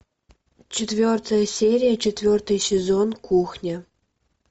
четвертая серия четвертый сезон кухня